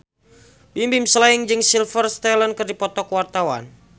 Bimbim Slank jeung Sylvester Stallone keur dipoto ku wartawan